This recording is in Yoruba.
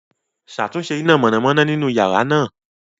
Ṣatunṣe ina mọnamọna ninu yara naa